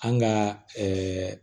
An ka ɛɛ